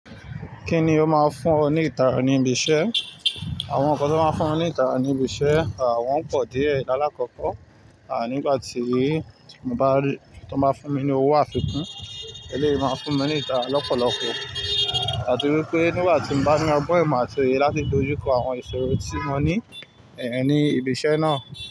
Kíni ó máa fún ọ ní ìtara ní ibi iṣẹ́? Àwọn nǹkan tí ó máa ń fún mi ní ìtara ní ibi iṣẹ́, wọn pọ̀ díẹ̀. Láàkọ́kọ́, nígbà tí mo bá rí tí wọ́n bá fún mi ní owó àfikún, ẹlẹ́yìí máa fún mi ní ìtara lọ́pọ̀lọpọ̀. Ati wípé nígbà tí mo bá ní ọgbọ́n, imo atì oye láti dojú kọ àwọn ìṣòro tí mo ní ẹ ní ibi iṣẹ́ náà.